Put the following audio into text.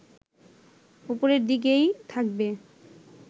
ওপরের দিকেই থাকবে